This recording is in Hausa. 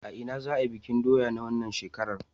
A ina za'a yi bikin doya na wannan shekarar?